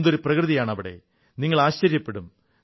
എന്തൊരു പ്രകൃതിയാണവിടെ നിങ്ങൾ ആശ്ചര്യപ്പെടും